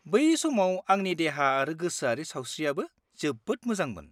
-बै समाव आंनि देहा आरो गोसोआरि सावस्रिआबो जोबोद मोजांमोन।